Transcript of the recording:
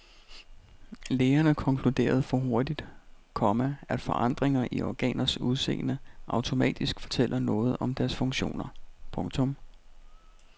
Lægerne konkluderede for hurtigt, komma at forandringer i organers udseende automatisk fortæller noget om deres funktioner. punktum